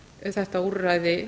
fá þetta úrræði